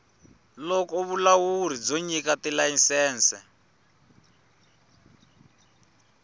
loko vulawuri byo nyika tilayisense